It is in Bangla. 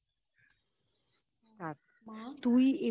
আর মা